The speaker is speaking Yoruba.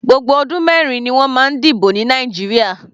Gbogbo ọdún mẹrin ni wọ́n máa ń dìbò ní Nàìjíríà.